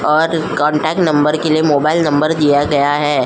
और contact number के लिए मोबाइल नंबर दिया गया है।